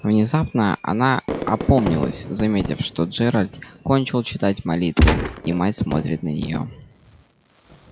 внезапно она опомнилась заметив что джералд кончил читать молитву и мать смотрит на нее